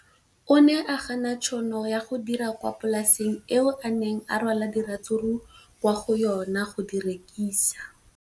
O ne a gana tšhono ya go dira kwa polaseng eo a neng rwala diratsuru kwa go yona go di rekisa.